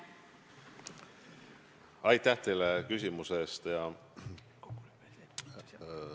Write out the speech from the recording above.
Aitäh teile küsimuse eest!